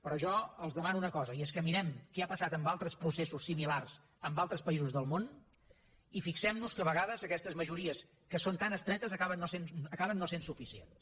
però jo els demano una cosa i és que mirem què ha passat en altres processos similars en altres països del món i fixem nos que a vegades aquestes majories que són tan estretes acaben no sent suficients